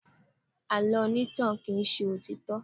Àlọ́ onítàn kì í ṣe òtítọ́.